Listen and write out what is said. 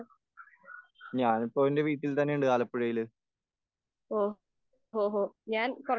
ഞാൻ ഇപ്പോൾ എന്റെ വീട്ടിൽ തന്നെയുണ്ട്.ആലപ്പുഴയിൽ.